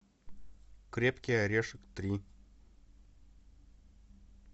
крепкий орешек три